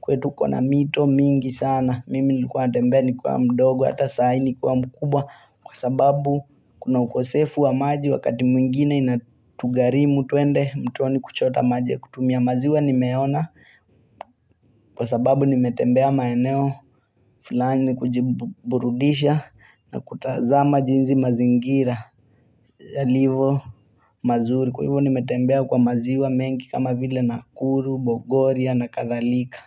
kwetu kuna mito mingi sana, mimi nilikuwa natembea nikiwa mdogo, hata sai nikiwa mkubwa, kwa sababu kuna ukosefu wa maji wakati mwingine inatugharimu tuende, mtoni kuchota maji ya kutumia maziwa nimeona, kwa sababu nimetembea maeneo, fulani kujiburudisha na kutazama jinsi mazingira, yalivyo mazuri. Kwa hivo nimetembea kwa maziwa mengi kama vile nakuru, bogoria na kadhalika.